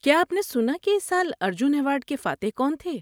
کیا آپ نے سنا کہ اس سال ارجن ایوارڈ کے فاتح کون تھے؟